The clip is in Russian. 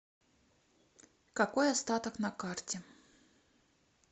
какой остаток на карте